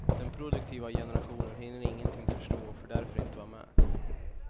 Den produktiva generationen hinner ingenting förstå och får därför inte vara med.